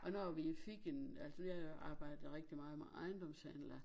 Og når vi fik en altså vi har jo arbjedet rigtig meget med ajendomshandler